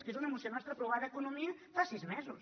és que és una moció nostra aprovada a economia fa sis mesos